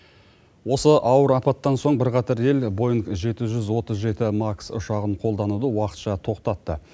осы ауыр апаттан соң бірқатар ел боинг жеті жүз отыз жеті макс ұшағын қолдануды уақытша тоқтатты